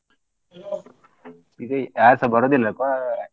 ಈಗ ಯಾರ್ ಸ ಬರೋದಿಲ್ಲ ಕೊ~.